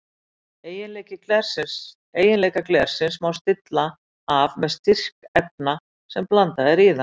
Eiginleika glersins má stilla af með styrk efna sem blandað er í það.